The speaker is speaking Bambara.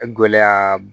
Gɛlɛya b